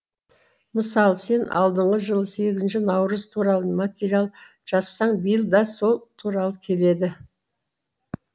мысалы сен алдыңғы жылы сегізінші наурыз туралы материал жазсаң биыл да сол туралы келеді